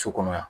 So kɔnɔ yan